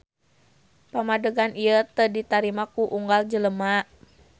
Pamadegan ieu teu ditarima ku unggal jelema.